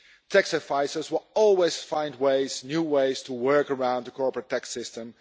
Tax advisers will always find ways, new ways, to work around the corporate tax system.